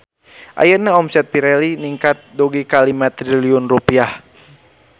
Ayeuna omset Pirelli ningkat dugi ka 5 triliun rupiah